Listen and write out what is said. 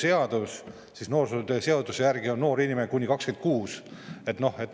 Kuid kui võtta lahti noorsootöö seadus, siis selle järgi on noor inimene kuni 26-aastane.